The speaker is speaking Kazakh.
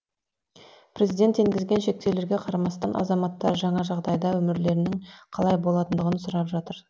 президент енгізген шектеулерге қарамастан азаматтар жаңа жағдайда өмірлерінің қалай болатындығын сұрап жатыр